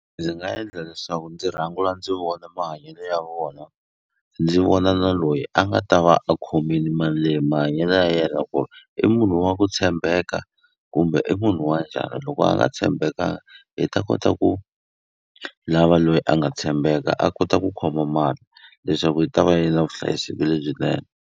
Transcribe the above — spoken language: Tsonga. Ndzi nga endla leswaku ndzi ndzi vona mahanyelo ya vona ndzi vona na loyi a nga ta va a khomini mali leyi mahanyelo ya yena ku ri i munhu wa ku tshembeka kumbe i munhu wa njhani loko a nga tshembekanga hi ta kota ku lava loyi a nga tshembeka a kota ku khoma mali leswaku yi ta va yi na vuhlayiseki lebyinene.